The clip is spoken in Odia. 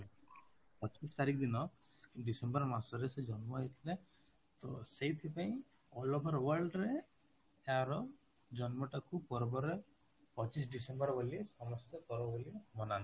ପଚିଶ ତାରିଖ ଦିନ December ମାସରେ ସେ ଜନ୍ମ ହେଇଥିଲେ ତ ସେଇଥି ପାଇଁ all over world ରେ ତାର ଜନ୍ମଟାକୁ ପର୍ବରେ ପଚିଶ December ବୋଲି ସମସ୍ତେ ପର୍ବ ବୋଲି ମନାନ୍ତି